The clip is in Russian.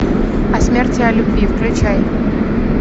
о смерти о любви включай